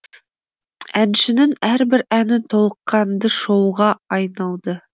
әншінің әрбір әні толыққанды шоуға айналды